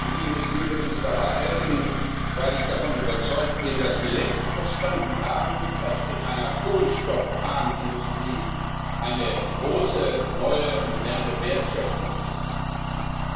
Die Industrie wird uns dabei helfen, weil ich davon überzeugt bin, dass sie längst verstanden hat, dass in einer kohlenstoffarmen Industrie eine große neue, moderne Wertschöpfung liegt.